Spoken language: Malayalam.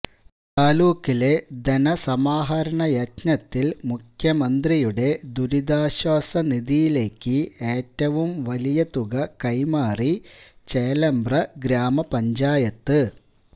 താലൂക്കിലെ ധനസമാഹരണയജ്ഞത്തിൽ മുഖ്യമന്ത്രിയുടെ ദുരിതാശ്വാസ നിധിയിലേക്ക് ഏറ്റവും വലിയതുക കൈമാറി ചേലേമ്പ്ര ഗ്രാമ പഞ്ചായത്ത്